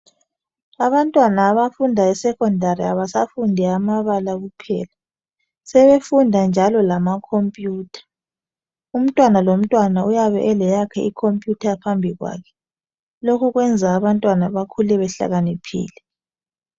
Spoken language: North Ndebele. Abantwana abafunda eSekhondari abasafundi amabala kuphela, sebefunda njalo lamakhompiyutha .Umntwana lomntwana uyabe eleyakhe ikhompiyutha phambi kwakhe .Lokhu kwenza abantwana bakhule behlakaniphile.